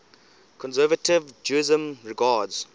conservative judaism regards